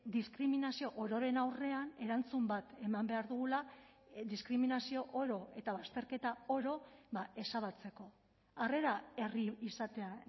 diskriminazio ororen aurrean erantzun bat eman behar dugula diskriminazio oro eta bazterketa oro ezabatzeko harrera herri izatea